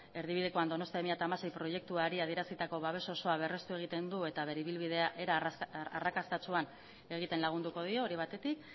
erdibidekoan donostia bi mila hamasei proiektuari adierazitako babes osoa berrestu egiten du eta bere ibilbidea era arrakastatsuan egiten lagunduko dio hori batetik